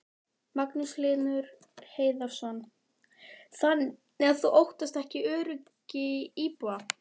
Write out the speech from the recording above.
Magnús Hlynur Hreiðarsson: Þannig að þú óttast ekki öryggi íbúa?